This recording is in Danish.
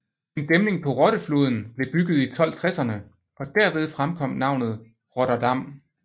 En dæmning på Rotte floden blev bygget i 1260erne og derved fremkom navnet Rotterdam